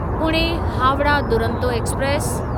Pune Howrah Duronto express